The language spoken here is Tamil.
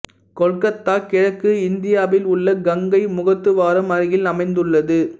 கொல்கத்தா கிழக்கு இந்தியாவில் உள்ள கங்கை முகத்துவாரம் அருகில் அமைந்துள்ளது